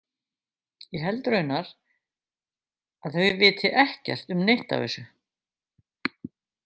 Ég held raunar að þau viti ekkert um neitt af þessu.